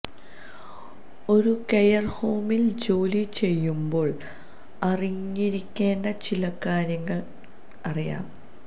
ഒരു കെയര്ഹോമില് ജോലി ചെയ്യുമ്പോള് അറിഞ്ഞിരിക്കേണ്ട ചില കാര്യങ്ങള് അറിയാം